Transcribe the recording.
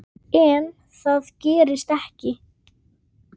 Hvað viltu ég segi?